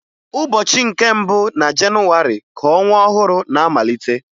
Ụbọchị nke mbụ na Jenuwarị ka ọnwa ọhụrụ na-amalite